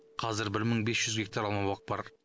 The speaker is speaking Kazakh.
қазір бір мың бес жүз гектар алмабақ бар